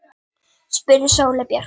Hann gleymir okkur öllum.